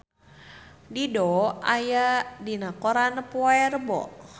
Dido aya dina koran poe Rebo